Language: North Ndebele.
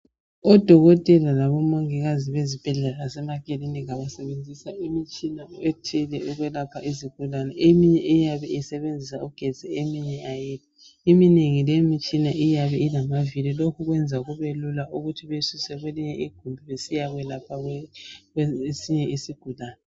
Odokotela labomongikazi bezibhedlela lasemakilinika basebenzisa imitshina ethile ukwelapha izigulane. Eminye eyabe isebenzisa ugetsi eminye ayila Eminengi leyi imitshina iyabe ilamavili lokhu kwenza kubelula ukuthi beyisuse kwelinye igumbi besiyakwelapha esinye isigulane.